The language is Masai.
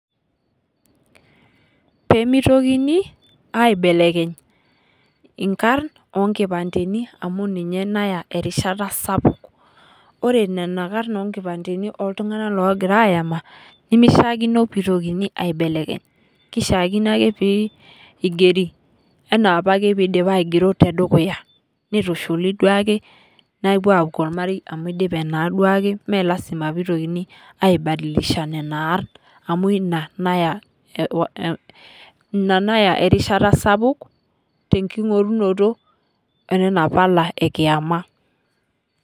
Pemitokini aibelekeny inkarn onkipanteni amuu ninye naya erishata sapuk. Ore nena karn onkipanteni oo ltung'ana ogira ayama, temishakino peitokini aibelekeny. Keishakino ake peigeri enaa apake peidipi aigero tedukuya nitushuli duake nepuo akuu ormarei amu idipe naa duake mee lasima pitokini aii badilisha nena arn amuu ina nayaa, ina nayaa erishata sapuk tenking'orunoto enana pala ekiyama.